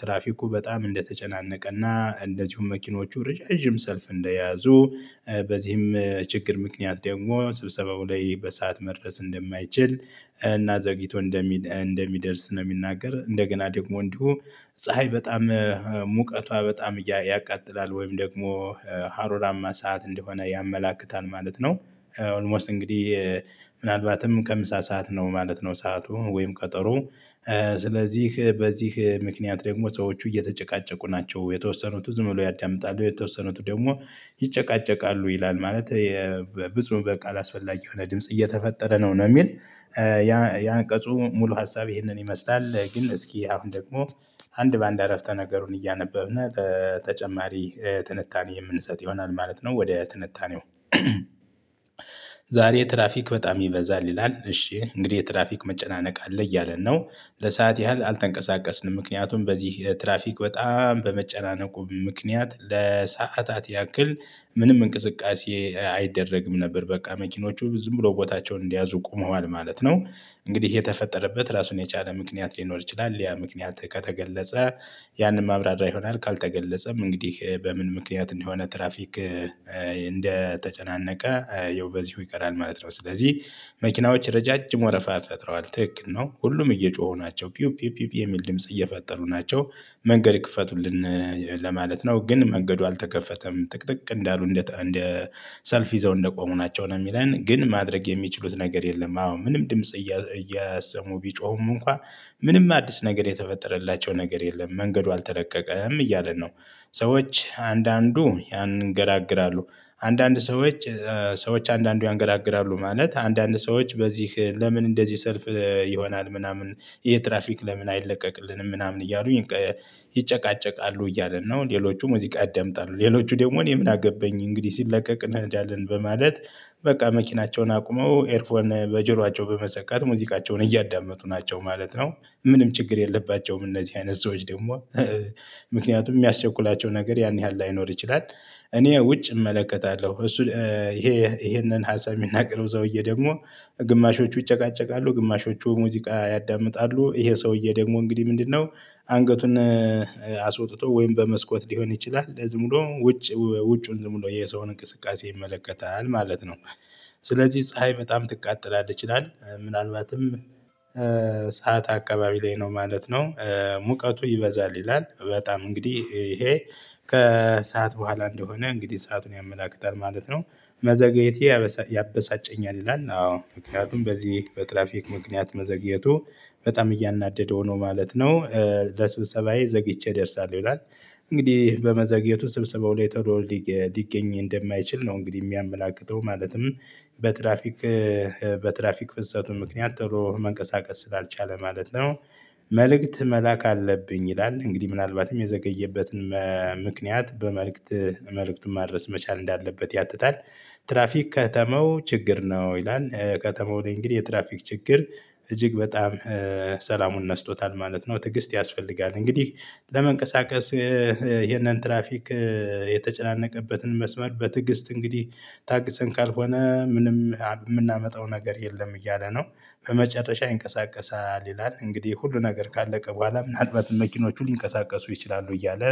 ትራፊኩ በጣም እንደተጨናነቀ እና እንደዚሁም መኪኖቹ ርዣዥም ሰልፍ እንደያዙ በዚህም ችግር ምክንያት ደግሞ ስብሰባው ላይ በሰአት መድረስ እንደማይችል እና ዘግይቶ እንደሚ እንደሚደርስ ነው። የሚናገር እንደገና ደግሞ እንዲሁ ፀሀይ በጣም ሙቀቷ በጣም ያቃጥላል ወይም ደግሞ ሀሩራማ ሰዓት እንደሆነ ያመላክታል ማለት ነው። ኦልሞስት እንግዲህ ምናልባትም ከምሳ ሰዓት ነው ማለት ነው። ሰዓቱ ወይም ቀጠሮ። ስለዚህ በዚህ ምክንያት ደግሞ ሰዎች እየተጨቃጨቁ ናቸው የተወሰኑት ዝም ብለው ያዳምጣሉ የተወሰኑት ደግሞ ይጨቃጨቃሉ ይላል። ማለት ብፁ በቃል አላስፈላጊ የሆነ ድምጽ እየተፈጠረ ነው ነው የሚል። ያ ያንቀጹ ሙሉ ሀሳብ ይህንን ይመስላል። ግን እስኪ አሁን ደግሞ አንድ በአንድ አረፍተ ነገሩን እያነበብን በተጨማሪ ትንታኔ የምንሰጥ ይሆናል ማለት ነው። ወደ ትንታኔው። ዛሬ ትራፊክ በጣም ይበዛል ይላል እሺ እንግዲህ የትራፊክ መጨናነቅ አለ እያለን ነው። ለሰአት ያህል አልተንቀሳቀስንም ምክንያቱም በዚህ ትራፊክ በጣም በመጨናነቁ ምክንያት ለሰአታት ያክል ምንም እንቅስቃሴ አይደረግም ነበር። በቃ መኪኖቹ ዝም ብሎ ቦታቸውን እንደያዙ ቆመዋል ማለት ነው። እንግዲህ የተፈጠረበት ራሱን የቻለ ምክንያት ሊኖር ይችላል ያ ምክንያት ከተገለጸ። ያንን ማብራሪያ ይሆናል ካልተገለጸም እንግዲህ በምን ምክንያት እንደሆነ ትራፊክ እንደተጨናነቀ ይኸው በዚሁ ይቀራል ማለት ነው። ስለዚህ መኪናዎች ረጃጅም ወረፋ ፈጥረዋል ትክክል ነው ሁሉም እየጮሁ ናቸው ፒዩ ፒዩ ፒዩ የሚል ድምጽ እየፈጠሩ ናቸው። መንገድ ይክፈቱልን። ለማለት ነው ግን መንገዱ አልተከፈተም ጥቅጥቅ እንዳሉ እንደ ሰልፍ ይዘው እንደቆሙ ናቸው ነው የሚለን ግን ማድረግ የሚችሉት ነገር የለም። አዎ ምንም ድምጽ እየሰሙ ቢጮሁም እንኳን ምንም አዲስ ነገር የተፈጠረላቸው ነገር የለም መንገዱ አልተለቀቀም እያለ ነው። ሰዎች አንዳንዱ ያንገራግራሉ። አንዳንድ ሰዎች ሰዎች አንዳንዱ ያንገራግራሉ ማለት አንዳንድ ሰዎች በዚህ ለምን እንደዚህ ሰልፍ ይሆናል? ምናምን ይሄ ትራፊክ ለምን አይለቀቅልንም? ምናምን እያሉኝ ይጨቃጨቃሉ እያለን ነው ሌሎቹ ሙዚቃ ያደምጣሉ ሌሎቹ ደግሞ እኔ ምን አገባኝ እንግዲህ ሲለቀቅ እንሄዳለን በማለት። በቃ መኪናቸውን አቁመው ኤርፎን በጆሯቸው በመሰካት ሙዚቃቸውን እያዳመጡ ናቸው ማለት ነው። ምንም ችግር የለባቸውም። እነዚህ አይነት ሰዎች ደግሞ ምክንያቱም የሚያስቸኩላቸው ነገር ያን ያህል ላይኖር ይችላል። እኔ ውጭ እመለከታለሁ እሱ ይሄ ይሄንን ሀሳብ የሚናገረው ሰውዬ ደግሞ ግማሾቹ ይጨቃጨቃሉ ግማሾቹ ሙዚቃ ያዳምጣሉ። ይሄ ሰውዬ ደግሞ እንግዲህ ምንድነው? አንገቱን አስወጥቶ ወይም በመስኮት ሊሆን ይችላል ዝም ብሎ ውጭ ውጭዉን ዝም ብሎ የሰውን እንቅስቃሴ ይመለከታል ማለት ነው። ስለዚህ ፀሀይ በጣም ትቃጠላለች ይላል። ምናልባትም ሰዓት አከባቢ ላይ ነው ማለት ነው። ሙቀቱ ይበዛል ይላል በጣም እንግዲህ ይሄ ከሰአት በኋላ እንደሆነ እንግዲህ ሰአቱን ያመላክታል ማለት ነው። መዘግየቴ ያበሳጨኛል ይላል አዎ ምክንያቱም በዚህ በትራፊክ ምክንያት መዘግየቱ በጣም እያናደው ነው ማለት ነው። ለስብሰባዬ ዘግይቼ ደርሳለሁ ይላል። እንግዲህ በመዘግየቱ ስብሰባው ላይ ቶሎ ሊገኝ እንደማይችል ነው እንግዲህ የሚያመላክተው ማለትም በትራፊክ በትራፊክ ፍሰቱ ምክንያት ቶሎ መንቀሳቀስ ስላልቻለ ማለት ነው። መልእክት መላክ አለብኝ ይላል እንግዲህ ምናልባትም የዘገየበትን ምክንያት በመልእክት መልእክቱን ማድረስ መቻል እንዳለበት ያትታል። ትራፊክ ከተማው ችግር ነው ይላል። ከተማው ላይ እንግዲህ የትራፊክ ችግር እጅግ በጣም ሰላሙን ነስቶታል ማለት ነው። ትግስት ያስፈልጋል። እንግዲህ ለመንቀሳቀስ ይሄንን ትራፊክ የተጨናነቀበትን መስመር በትግስት እንግዲህ ታግሰን ካልሆነ ምንም የምናመጣው ነገር የለም እያለ ነው። በመጨረሻ ይንቀሳቀሳል ይላል እንግዲህ ሁሉ ነገር ካለቀ በኋላ ምናልባትም መኪኖቹ ሊንቀሳቀሱ ይችላሉ እያለ።